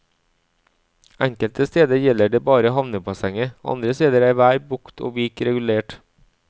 Enkelte steder gjelder det bare havnebassenget, andre steder er hver bukt og vik regulert.